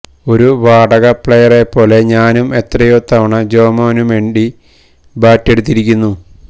ഒരു വാടക പ്ലെയറെപ്പോലെ ഞാനും എത്രയോ തവണ ജോമോനു വേണ്ടി ബാറ്റെടുത്തിരിക്കുന്നു